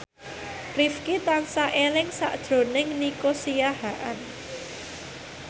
Rifqi tansah eling sakjroning Nico Siahaan